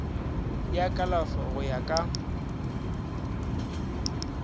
ya kalafo go ya ka